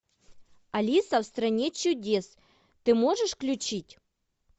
алиса в стране чудес ты можешь включить